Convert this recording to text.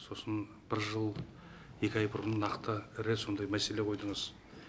сосын бір жыл екі ай бұрын нақты ірі сондай мәселе қойдыңыз